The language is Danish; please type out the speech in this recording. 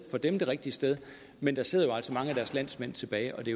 for dem rigtige sted men der sidder jo altså mange af deres landsmænd tilbage og det